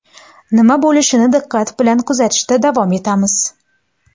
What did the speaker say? Nima bo‘lishini diqqat bilan kuzatishda davom etamiz.